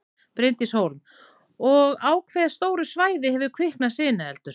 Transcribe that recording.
Bryndís Hólm: Og á hve stóru svæði hefur kviknað í sinueldur?